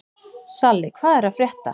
Salli, hvað er að frétta?